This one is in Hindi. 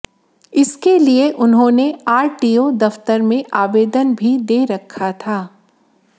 इसके लिए उन्होंने आरटीओ दफ्तर में आवेदन भी दे रखा था